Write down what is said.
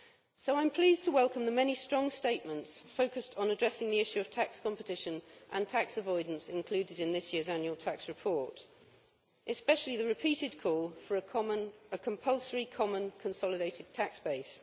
So I am pleased to welcome the many strong statements focused on addressing the issue of tax competition and tax avoidance included in this year's annual tax report, especially the repeated call for a compulsory common consolidated tax base.